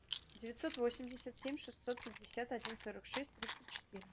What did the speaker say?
девятьсот восемьдесят семь шестьсот пятьдесят один сорок шесть тридцать четыре